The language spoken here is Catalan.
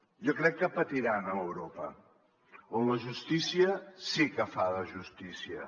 jo crec que patiran a europa on la justícia sí que fa de justícia